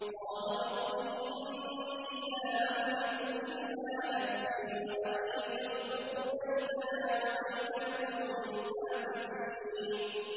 قَالَ رَبِّ إِنِّي لَا أَمْلِكُ إِلَّا نَفْسِي وَأَخِي ۖ فَافْرُقْ بَيْنَنَا وَبَيْنَ الْقَوْمِ الْفَاسِقِينَ